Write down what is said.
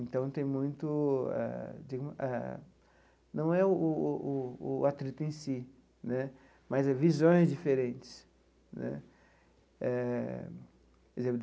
Então tem muito, eh tem eh não é o o o o atrito em si né, mas é visões diferentes né eh por exemplo.